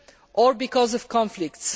or because of conflicts.